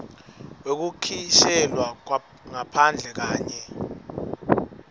wekukhishelwa ngaphandle kanye